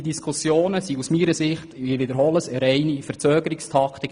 Sie sind aus meiner Sicht – ich wiederhole es – eine reine Verzögerungstaktik.